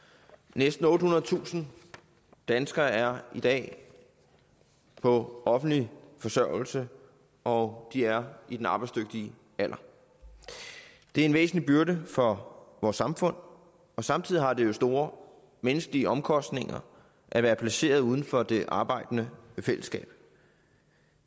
næsten ottehundredetusind danskere er i dag på offentlig forsørgelse og de er i den arbejdsdygtige alder det er en væsentlig byrde for vores samfund og samtidig har det jo store menneskelige omkostninger at være placeret uden for det arbejdende fællesskab